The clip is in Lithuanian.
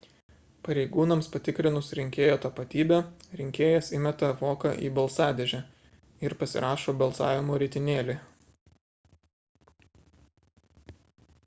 pareigūnams patikrinus rinkėjo tapatybę rinkėjas įmeta voką į balsadėžę ir pasirašo balsavimo ritinėlį